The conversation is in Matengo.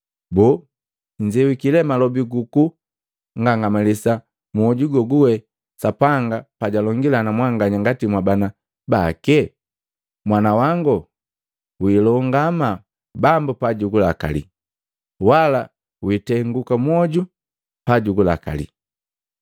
Boo, nnzewiki le malobi gu ku ngangamalisa mwoju gaguge Sapanga pa jalongila na mwanganya ngati mwabana bake? “Mwana wangu wilongama, Bambo pa jugulakali, wala witenguka mwoju pa jugulakali.